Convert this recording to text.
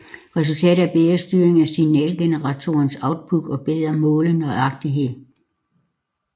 Resultatet er bedre styring af signalgeneratorens output og bedre målenøjagtighed